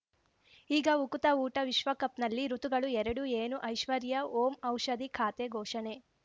ಈಗ ಉಕುತ ಊಟ ವಿಶ್ವಕಪ್‌ನಲ್ಲಿ ಋತುಗಳು ಎರಡು ಏನು ಐಶ್ವರ್ಯಾ ಓಂ ಔಷಧಿ ಖಾತೆ ಘೋಷಣೆ